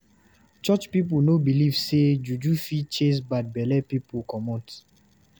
Church pipu no dey beliv sey juju fit chase bad belle pipu comot.